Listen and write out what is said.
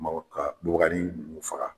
Mɔgɔ ka bubaganin ninnu faga.